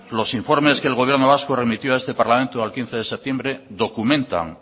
los informes que el gobierno vasco remitió a este parlamento el día quince de septiembre documentan